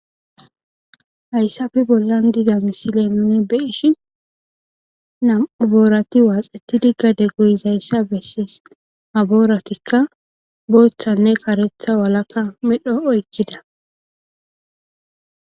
Hayssafi bollan diza misile nuni beishi namuboorati waaxetidi gade goyishayssa besses abooratikka booththanne karetha walakka medho oykkida.